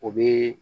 O be